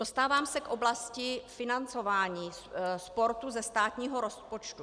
Dostávám se k oblasti financování sportu ze státního rozpočtu.